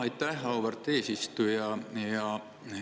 Aitäh, auväärt eesistuja!